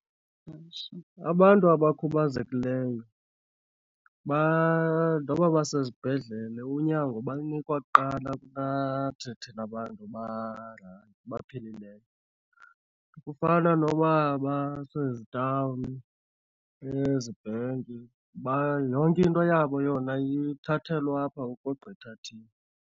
Abantu abakhubazekileyo , noba basezibhedlele unyango balinikwa kuqala kunathi thina bantu baphilileyo. Kufana noba basezitawuni, ezibhenki , yonke into yabo yona ithathelwa apha ukogqitha thina.